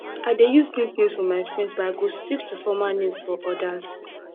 i dey use nicknames for my friends but i go stick to formal names for others